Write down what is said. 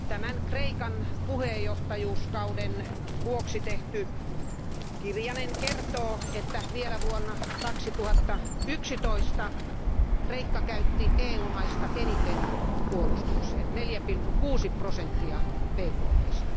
Tämän Kreikan puheenjohtajakauden vuoksi tehty kirjanen kertoo, että vielä vuonna 2011 Kreikka käytti EU maista eniten puolustukseen, 4,6 prosenttia BKTstä.